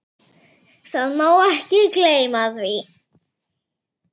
Það má ekki gleyma því.